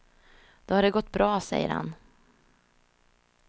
Då har det gått bra, säger han.